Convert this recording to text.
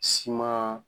Siman